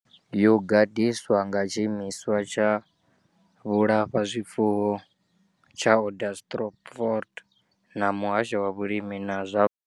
Yo gadiswa nga tshiimiswa tsha vhulafhazwifuwo tsha Onderstepoort na muhasho wa vhulimi na zwa.